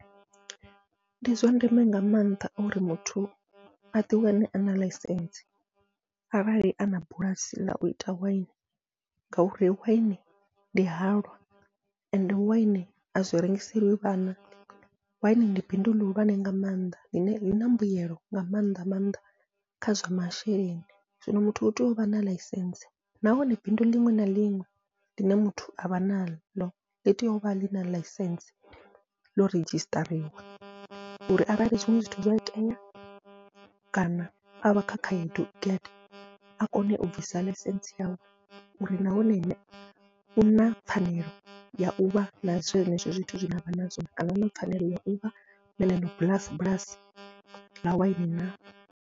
Ndi zwa ndeme nga maanḓa uri muthu aḓi wane ana ḽaisentse arali ana bulasi ḽau ita waini, ngauri waini ndi halwa ende waini azwi rengiseliwe vhana waini ndi bindu ḽihulwane nga mannḓa ḽine ḽina mbuyelo nga maanḓa maanḓa kha zwa masheleni, zwino muthu utea uvha na ḽaisentse nahone bindu liṅwe na liṅwe ḽine muthu avha naḽo ḽi tea uvha ḽina ḽaisentse ḽo redzhisiṱariwa. Uri arali zwiṅwe zwithu zwa itea kana avha kha khaedu ngede, a kone u bvisa ḽaisentsi yawe uri nahone ene u na pfhanelo ya uvha na zwenezwo zwithu zwine avha nazwo, kana u na pfhanelo ya uvha na bulasi bulasi ḽa waini na.